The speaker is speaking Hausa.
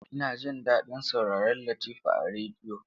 Ina jin daɗin sauraron Latifa a rediyo.